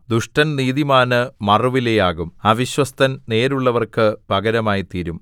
ദുഷ്ടൻ നീതിമാന് മറുവിലയാകും അവിശ്വസ്തൻ നേരുള്ളവർക്ക് പകരമായിത്തീരും